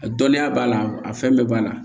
A dɔnniya b'a la a fɛn bɛɛ b'a la